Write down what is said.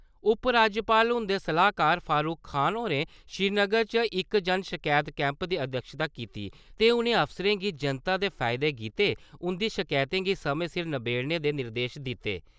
उपराज्यपाल हुंदे सलाह्कार फारूख खान होरें श्रीनगर च इक जन शकैत कैंप दी अध्यक्षता कीती ते उ'नें अफसरें गी जनता दे फैदे गित्तै उं'दी शकैतें गी समय सिर नभेड़ने दे निर्देश दित्ते ।